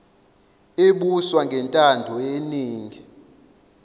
ebuswa ngentando yeningi